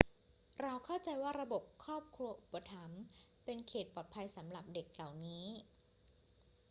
เราเข้าใจว่าระบบครอบครัวอุปถัมภ์เป็นเขตปลอดภัยสำหรับเด็กเหล่านี้